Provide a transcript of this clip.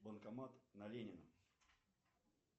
банкомат на ленина